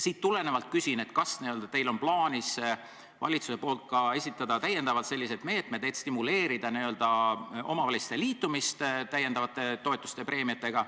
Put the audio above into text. Sellest tulenevalt küsin, kas teil on plaanis valitsuse poolt esitada ka täiendavad meetmed, et stimuleerida omavalitsuste liitumist täiendavate toetuste-preemiatega ...